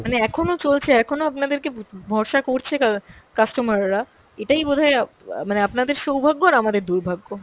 মানে এখনও চলছে, এখনও আপনাদেরকে ভ~ ভরসা করছে কা~ customer রা এটাই বোধহয় অ্যাঁ মানে আপনাদের সৌভাগ্য আর আমাদের দুর্ভাগ্য।